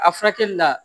A furakɛli la